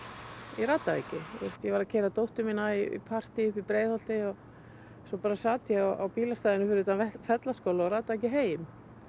ég rataði ekki ég var að keyra dóttur mína í partí í Breiðholti og svo sat ég á bílastæði fyrir utan Fellaskóla og bara rataði ekki heim